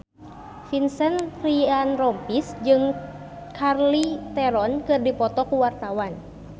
Vincent Ryan Rompies jeung Charlize Theron keur dipoto ku wartawan